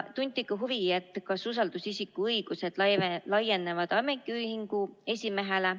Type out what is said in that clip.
Tunti huvi, kas usaldusisiku õigused laienevad ametiühingu esimehele.